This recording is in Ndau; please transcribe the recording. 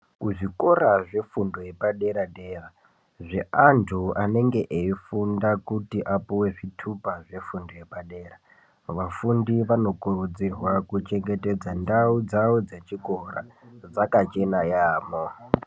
Kuzvikora zvefundo yepadera dera zveantu anenge eifunda kuti apuwe zvitupa zvefundo yepadera vafundi vanokurudzirwa kuchengetedza ndau dzavo dzechikora dzakachena yaamho.